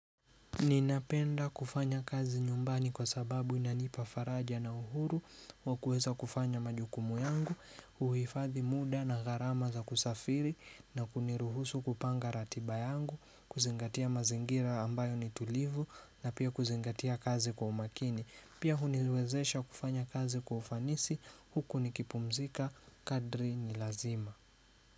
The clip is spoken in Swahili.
Ninapenda kufanya kazi nyumbani kwa sababu inanipa faraja na uhuru wa kuweza kufanya majukumu yangu, uhifadhi muda na gharama za kusafiri na kuniruhusu kupanga ratiba yangu, kuzingatia mazingira ambayo ni tulivu na pia kuzingatia kazi kwa umakini. Pia huniwezesha kufanya kazi kwa ufanisi, huku nikipumzika, kadri ni lazima.